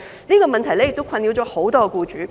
這個問題亦困擾很多僱主。